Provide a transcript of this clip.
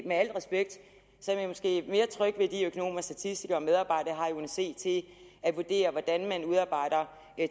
med al respekt er jeg måske mere tryg ved de økonomer statistikere og medarbejdere jeg c til at vurdere hvordan man udarbejder